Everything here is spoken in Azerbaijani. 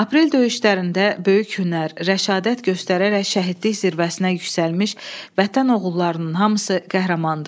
Aprel döyüşlərində böyük hünər, rəşadət göstərərək şəhidlik zirvəsinə yüksəlmiş Vətən oğullarının hamısı qəhrəmandır.